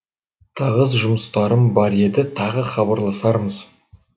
тығыз жұмыстарым бар еді тағы хабарласармыз